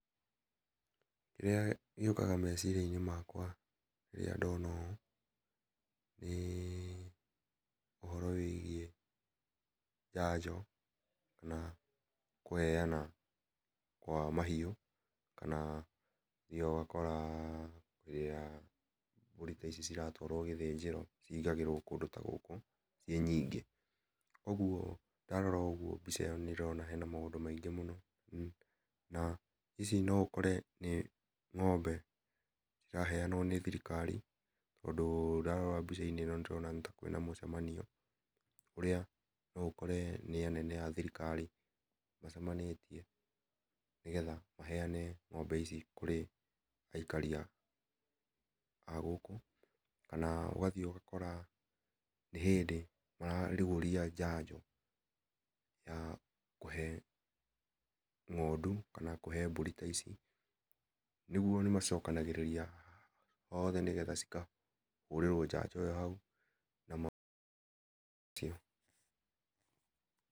Kĩrĩa gĩũkaga mecĩiriainĩ makwa rĩrĩa ndona ũũ, nĩ ũhoro wĩgiĩ njanjo kana kũheana kwa mahiũ kana nĩ ũthiaga ũgakora rĩrĩa mbũrĩ ta ici ĩratwarwo gĩthĩnjĩro cĩhĩngagĩrwo kũndũ ta gũkũ ciĩ nyingĩ kũogũo ndarora ũgũo mbica ĩno nĩ ndĩrona kwĩna mũndũ maingĩ mũno na ici no ũkore nĩ ng'ombe ciraheanwo nĩ thirikari tondũ ndarora mbĩca inĩ ĩno nĩ ndĩrona ta kwĩna mũcemanio ũrĩa no ũkore nĩ anene a thirikari macemanĩtie nĩgetha maheane ng'ombe ici kũrĩ kũrĩ aikaria a gũkũ, ũgathiĩ ũgakora nĩ hĩndĩ mararũgũria njanjo ya kũhe ng'ondũ kana kũhe mbũri ta icĩ rĩũ o nĩmacokanagĩrĩria othe nĩgetha cĩkahũrĩrwo njanjo ĩyo haũ.